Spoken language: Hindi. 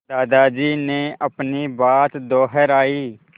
दादाजी ने अपनी बात दोहराई